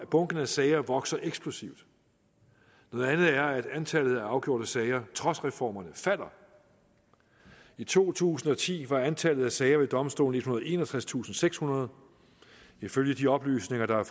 bunken af sager vokser eksplosivt noget andet er at antallet af afgjorte sager trods reformerne falder i to tusind og ti var antallet af sager ved domstolen og enogtredstusindsekshundrede ifølge de oplysninger der